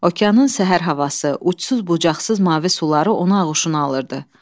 Okeanın səhər havası, uçsuz-bucaqsız mavi suları onu ağuşuna alırdı.